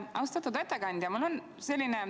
Austatud ettekandja!